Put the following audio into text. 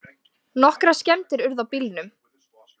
Nokkrar skemmdir urðu á bílnum